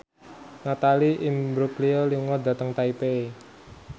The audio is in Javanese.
Natalie Imbruglia lunga dhateng Taipei